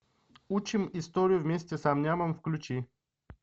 учим историю вместе с ам нямом включи